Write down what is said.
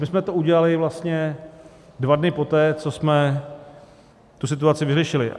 My jsme to udělali vlastně dva dny poté, co jsme tu situaci vyřešili.